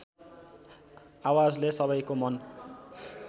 आवाजले सबैको मन